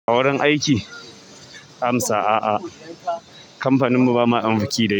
A wurin aiki? Amsa. Aa, kamfanin mu ba ma ɗan biki da yake.